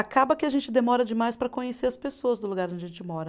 Acaba que a gente demora demais para conhecer as pessoas do lugar onde a gente mora.